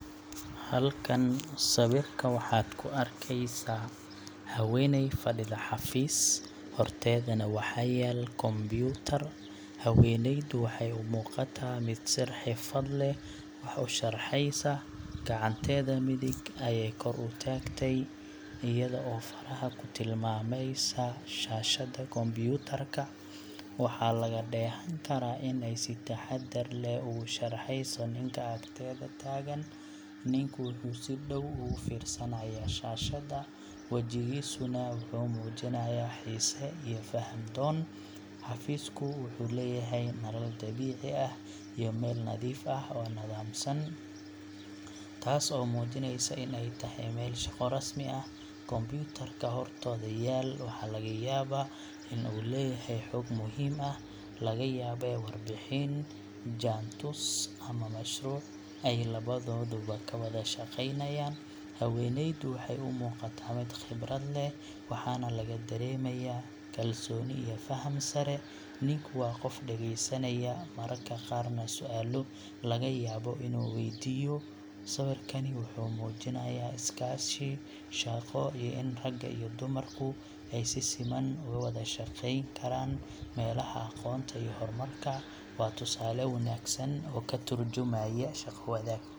Halkan sawirka waxaad ka arkaysaa haweeney fadhida xafiis, horteedana waxa yaal kombuyuutar. Haweeneydu waxay u muuqataa mid si xirfad leh wax u sharxeysa. Gacanteeda midig ayay kor u taagtay, iyada oo faraha ku tilmaamaysa shaashada kombuyuutarka. Waxaa laga dheehan karaa in ay si taxaddar leh ugu sharxeyso ninka agteeda taagan. Ninku wuxuu si dhow ugu fiirsanayaa shaashada, wajigiisuna wuxuu muujinayaa xiise iyo faham-doon. Xafiisku wuxuu leeyahay nalal dabiici ah iyo meel nadiif ah oo nidaamsan, taas oo muujinaysa in ay tahay meel shaqo rasmi ah. Kombuyuutarka hortooda yaal waxaa laga yaabaa in uu leeyahay xog muhiim ah laga yaabee warbixin, jaantus ama mashruuc ay labadooduba ka wada shaqeynayaan. Haweeneydu waxay u muuqataa mid khibrad leh, waxaana laga dareemayaa kalsooni iyo faham sare. Ninku waa qof dhageysanaya, mararka qaarna su’aalo laga yaabo inuu waydiiyo. Sawirkani wuxuu muujinayaa iskaashi shaqo iyo in ragga iyo dumarku ay si siman uga wada shaqeyn karaan meelaha aqoonta iyo horumarka. Waa tusaale wanaagsan oo ka tarjumaya shaqo-wadaag.